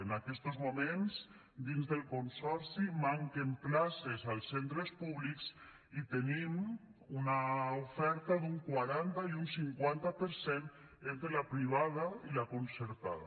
en aquestos moments dins del consorci manquen places als centres públics i tenim una oferta d’un quaranta i un cinquanta per cent entre la privada i la concertada